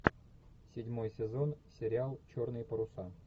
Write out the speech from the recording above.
седьмой сезон сериал черные паруса